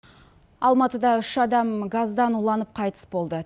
алматыда үш адам газдан уланып қайтыс болды